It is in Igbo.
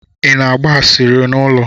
Ị na-agba asịrị n'ụlọ?